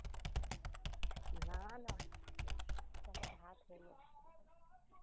না না এখন ভাত হলো।